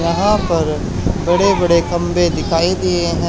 यहां पर बड़े बड़े खंबे दिखाई दिए हैं।